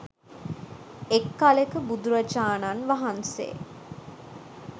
එක් කලෙක බුදුරජාණන් වහන්සේ